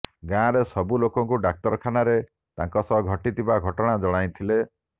ଗାଁରେ ସବୁ ଲୋକଙ୍କୁ ଡାକ୍ତରଖାନାରେ ତାଙ୍କ ସହ ଘଟିଥିବା ଘଟଣା ଜଣାଇଥିଲେ